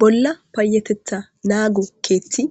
bolla payetetha naago keethti